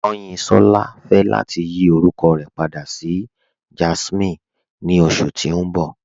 Kanyinsọla fẹ lati yí orúkọ rẹ pàdà sí Jásminè ni oṣù tí n bọ̀